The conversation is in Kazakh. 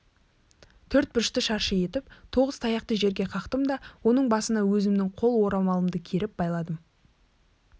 төрт бұрышты шаршы етіп тоғыз таяқты жерге қақтым да оның басына өзімнің қол орамалымды керіп байладым